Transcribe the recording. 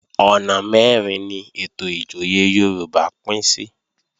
Ọ̀nà mẹ́rin ni ètò ìjòyè Yorùbá pín sí